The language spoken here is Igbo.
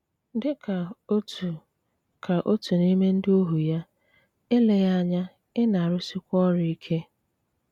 Dí ká ótú ká ótú n’ímé ndí óhú yá, éléghí ányá í na-rúí swiká ọrụ íké.